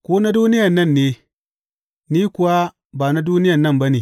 Ku na duniyan nan ne; ni kuwa ba na duniyan nan ba ne.